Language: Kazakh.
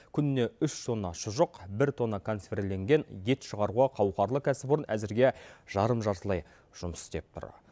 күніне үш тонна шұжық бір тонна консервіленген ет шығаруға қауқарлы кәсіпорын әзірге жарым жартылай жұмыс істеп тұр